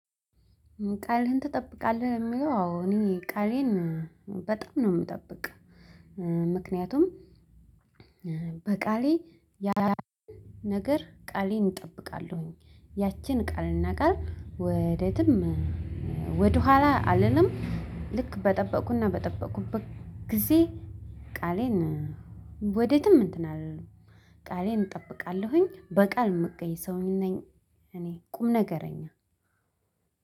ቃልህን? ትጠብቃለህ የሚለው አዎ እኔ ቃሌን በጣም ነው የምጠብቅ። ምክንያቱም በቃሌ ያላንድን ነገር ቃሌን እጠብቃለሁኝ ያችን ቃልና ቃል ወደትም ወደኋላ አልልም። ልክ በጠበቁና በጠበቁበት ጊዜ ቃሌን ወዴትም እንትን አልልም። ቃሌን እጠብቃለሁኝ በቃል ምገኝ ሰውኝ ነኝ። እኔ ቁም ነገረኛ።